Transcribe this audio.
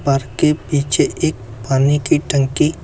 park के पीछे एक पानी की टंकी--